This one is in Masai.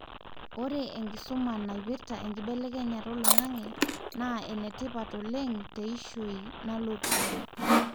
ore enkisuma naipirta enkibelekenyata olaingange na ene tipat oleng teishoi nalototu